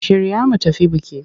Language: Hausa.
Shirya mu tafi biki!